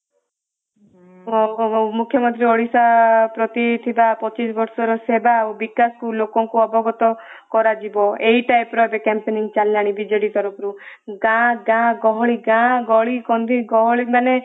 ମୁଖ୍ୟମନ୍ତ୍ରୀ ଓଡିଶା ପ୍ରତି ଥିବା ପଚିଶ ବର୍ଷ ର ସେବା ଆଉ ବିକାଶକୁ ଲୋକଙ୍କ ଅବଗତ କରାଯିବ ଏହି type ର ଏବେ campaigning ଚାଲିଲାଣି ବିଜେଡି ତରଫରୁ ଗାଁ ଗାଁ ଗହଳି ଗାଁ ଗଳିକନ୍ଦି ଗହଳି ମାନେ